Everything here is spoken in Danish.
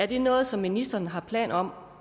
det er noget som ministeren har planer om